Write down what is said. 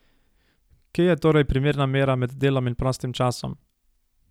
Kje je torej primerna mera med delom in prostim časom?